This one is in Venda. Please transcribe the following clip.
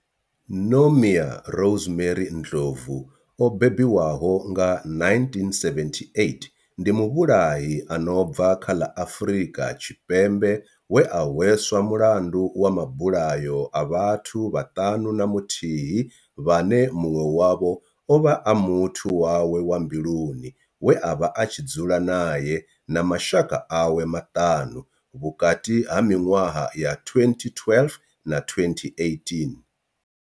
Nomia Rosemary Ndlovu o bebiwaho nga 1978 ndi muvhulahi a no bva kha ḽa Afurika Tshipembe we a hweswa mulandu wa mabulayo a vhathu vhaṱanu na muthihi vhane munwe wavho ovha a muthu wawe wa mbiluni we avha a tshi dzula nae na mashaka awe maṱanu vhukati ha minwaha ya 2012 na 2018.